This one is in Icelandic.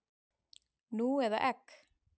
Nú eða egg?